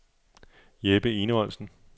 Jeppe Enevoldsen